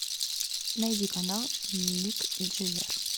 найди канал ник джевер